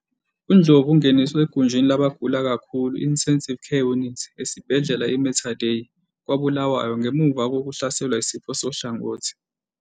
UNdlovu ungeniswe egunjini labagula kakhulu i-Intensive Care Unit, ICU, esibhedlela iMater Dei kwaBulawayo ngemuva kokuhlaselwa yisifo sohlangothi.